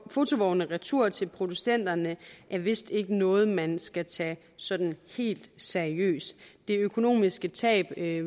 fotovogne retur til producenterne er vist ikke noget man skal tage sådan helt seriøst det økonomiske tab ved at